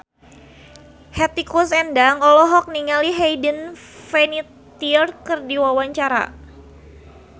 Hetty Koes Endang olohok ningali Hayden Panettiere keur diwawancara